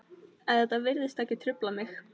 En þetta virtist ekki trufla mig.